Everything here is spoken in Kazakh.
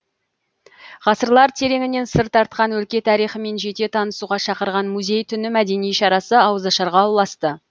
ғасырлар тереңінен сыр тартқан өлке тарихымен жете танысуға шақырған музей түні мәдени шарасы ауызашарға ұласты